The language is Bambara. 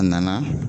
A nana